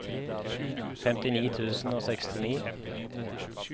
femtini tusen og sekstini